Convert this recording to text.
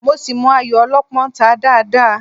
Mo ṣì mọ ayò Ọlọ́pọ́n ta dáadáa